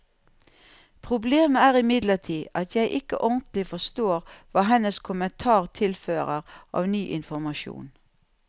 Problemet er imidlertid at jeg ikke ordentlig forstår hva hennes kommentar tilfører av ny informasjon.